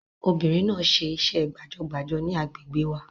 Obìnrin náà ṣe iṣẹ́ gbàjọgbàjọ ní àgbègbè wa